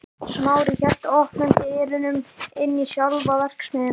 Smári hélt opnum dyrunum inn í sjálfa verksmiðjuna.